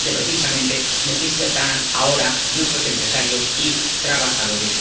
dinero que, precisamente, necesitan ahora nuestros empresarios y trabajadores.